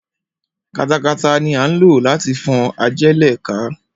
Katakata ni à ń lò láti fọ́n ajẹ́lẹ̀ ká